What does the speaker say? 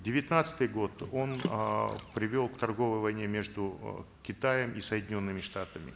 девятнадцатый год он эээ привел к торговой войне между э китаем и соединенными штатами